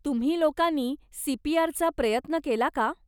तुम्ही लोकांनी सीपीआरचा प्रयत्न केला का?